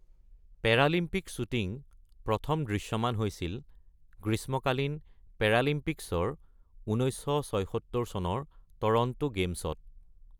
Paralympic shooting প্ৰথম দৃশ্যমান হৈছিল গ্ৰীষ্মকালীন পেৰালিম্পিক্সৰ ১৯৭৬ চনৰ টৰন্টো গেমছত।